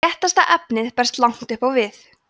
léttasta efnið berst langt upp á við